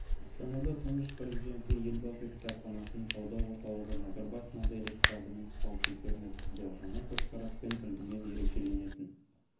астанада тұңғыш президенті елбасы кітапханасының талдау орталығы назарбаев моделі кітабының тұсаукесерін өткізді жаңа көзқараспен үлгімен ерекшеленетін